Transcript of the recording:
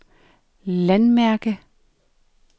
landmærke